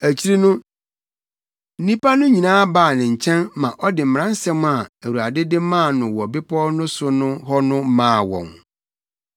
Akyiri no, nnipa no nyinaa baa ne nkyɛn ma ɔde mmaransɛm a Awurade de maa no wɔ bepɔw no so hɔ no maa wɔn.